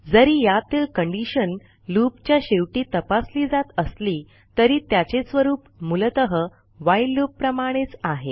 जरी यातीलcondition लूप च्या शेवटी तपासली जात असली तरी त्याचे स्वरूप मूलतः व्हाईल लूप प्रमाणेच आहे